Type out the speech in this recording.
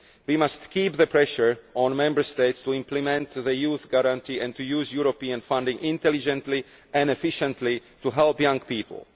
We must keep the pressure on Member States to implement the Youth Guarantee and to use European funding intelligently and efficiently to help young people.